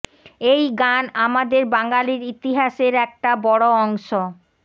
এই গান আমাদের বাঙালির ইতিহাসের একটা বড় অংশ